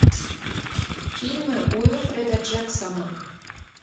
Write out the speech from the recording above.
фильмы уилфреда джексона